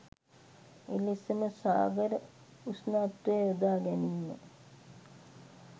එලෙසම සාගර උෂ්ණත්වය යොදා ගැනීම